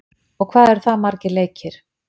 og hvað eru það margir leikir?